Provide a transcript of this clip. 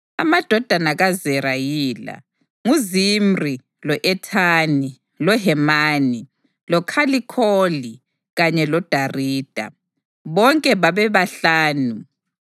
Amadodana kaZera yila: nguZimri, lo-Ethani, loHemani, loKhalikholi kanye loDarida. Bonke babebahlanu.